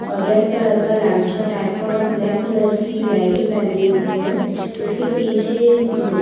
अ red colour का लांचा type का और ब्लैक कलर की लैगी पहनी हुए है इसके पीछे वू --